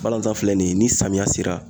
Balanzan filɛ nin ye ni samiya sera